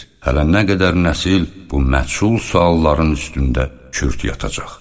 Hələ nə qədər nəsil bu məchul sualların üstündə kürt yatacaq.